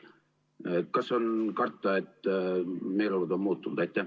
Kas on karta, et meeleolud on muutunud?